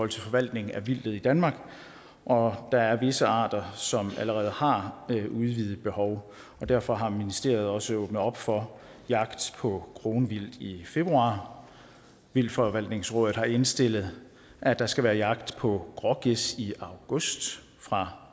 til forvaltning af vildtet i danmark og der er visse arter som allerede har udvidet behov derfor har ministeriet også åbnet op for jagt på kronvildt i i februar vildtforvaltningsrådet har indstillet at der skal være jagt på grågæs i august fra